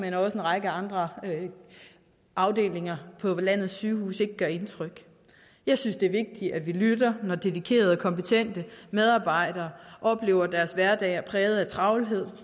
en række andre afdelinger på landets sygehuse ikke gør indtryk jeg synes det er vigtigt at vi lytter når dedikerede og kompetente medarbejdere oplever at deres hverdag er præget af travlhed